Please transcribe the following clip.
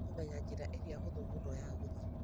Ndĩrenda kũmenya njĩra ĩrĩa hũthũ mũno ya gũthiĩ